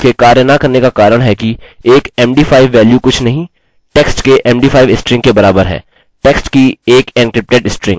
सुनिश्चित कर लें कि आपने अंत के कोष्टकों को हटाया मैं यहाँ नीचे आऊंगा और अपने पूर्ण डेटा को जाँचूंगा